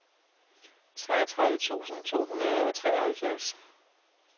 treogtredive tusind to hundrede og treoghalvfjerds